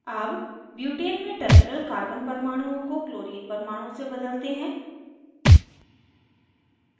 अब butane में terminal carbon परमाणुओं को chlorine परमाणु से बदलते हैं